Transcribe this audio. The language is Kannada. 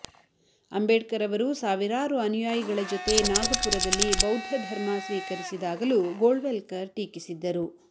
ಅಂಬೇಡ್ಕರ್ ಅವರು ಸಾವಿರಾರು ಅನುಯಾಯಿಗಳ ಜೊತೆ ನಾಗಪುರದಲ್ಲಿ ಬೌದ್ಧ ಧರ್ಮ ಸ್ವೀಕರಿಸಿದಾಗಲೂ ಗೋಳ್ವಲ್ಕರ್ ಟೀಕಿಸಿದ್ದರು